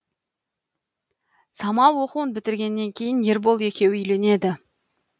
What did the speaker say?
самал оқуын бітіргеннен кейін ербол екеуі үйленеді